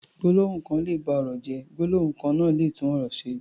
Gbólóhùn kan lè ba ọ̀rọ̀ jẹ́, gbólóhùn kan náà lè tún ọ̀rọ̀ ṣe.